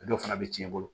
A dɔw fana bɛ tiɲɛ i bolo